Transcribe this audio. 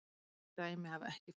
Yngri dæmi hafa ekki fundist.